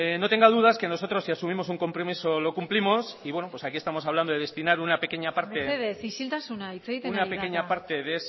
no tenga dudas que nosotros si asumimos un compromiso lo cumplimos y aquí estamos hablando de destinar una pequeña parte mesedez isiltasuna hitz egiten ari da eta de ese